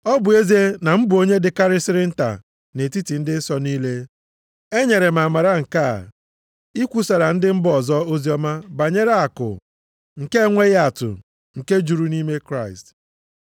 Ọ bụ ezie na mụ bụ onye dịkarịsịrị nta nʼetiti ndị nsọ niile, e nyere m amara nke a, ikwusara ndị mba ọzọ oziọma banyere akụ nke enweghị atụ nke juru nʼime Kraịst,